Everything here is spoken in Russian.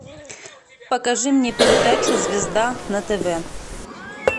покажи мне передачу звезда на тв